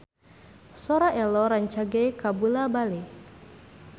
Sora Ello rancage kabula-bale